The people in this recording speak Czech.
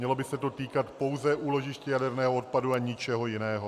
Mělo by se to týkat pouze úložišť jaderného odpadu a ničeho jiného.